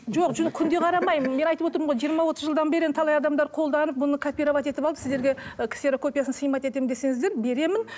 жоқ жоқ күнде қарамаймын мен айтып отырмын ғой жиырма отыз жылдан бері енді талай адамдар қолданып бұны копировать етіп алып сіздерге і ксерокопиясын снимать етемін десеңіздер беремін